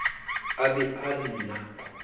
a be a re na